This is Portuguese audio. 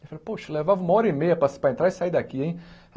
Eu falei, poxa, levava uma hora e meia para para entrar e sair daqui hein.